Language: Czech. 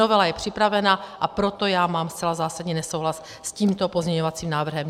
Novela je připravena, a proto já mám zcela zásadní nesouhlas s tímto pozměňovacím návrhem.